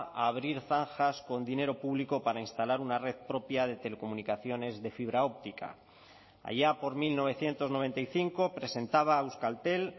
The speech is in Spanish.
a abrir zanjas con dinero público para instalar una red propia de telecomunicaciones de fibra óptica allá por mil novecientos noventa y cinco presentaba a euskaltel